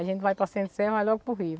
A gente vai para Centro-Sé, vai logo para o Rio.